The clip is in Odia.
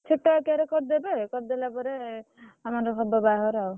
ଛୋଟ ଆକାର ରେ କରିଦେବେ କରି ଦେଲା ପରେ ଆମର ହବ ବାହାଘର ଆଉ।